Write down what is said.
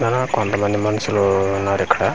చాన కొంత మంది మనుషులు ఉన్నారు ఇక్కడ .